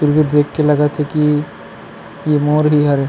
इने देख के लगत हे की ये मोर ही हरे।